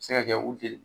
Se ka kɛ u jeli